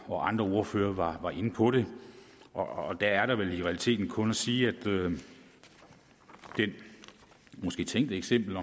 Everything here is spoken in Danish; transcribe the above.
og andre ordførere var var inde på det og der er der vel i realiteten kun at sige at det måske tænkte eksempel